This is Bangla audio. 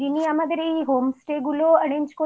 যে আমাদের যিনি আমাদের এই home stay